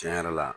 Tiɲɛ yɛrɛ la